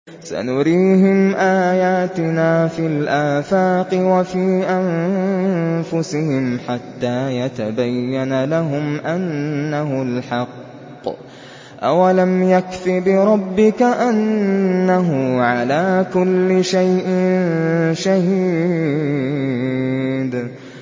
سَنُرِيهِمْ آيَاتِنَا فِي الْآفَاقِ وَفِي أَنفُسِهِمْ حَتَّىٰ يَتَبَيَّنَ لَهُمْ أَنَّهُ الْحَقُّ ۗ أَوَلَمْ يَكْفِ بِرَبِّكَ أَنَّهُ عَلَىٰ كُلِّ شَيْءٍ شَهِيدٌ